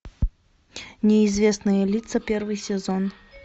неизвестные лица первый сезон